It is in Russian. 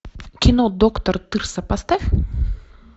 кино доктор тырса поставь